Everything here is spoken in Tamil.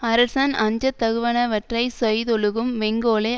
அரசன் அஞ்சத்தகுவனவற்றைச் செய்தொழுகும் வெங்கோலை